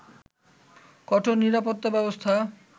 কঠোর নিরাপত্তা ব্যবস্থা